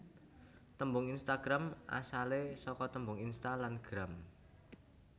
Tembung Instagram asale saka tembung Insta lan Gram